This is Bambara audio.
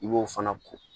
I b'o fana ko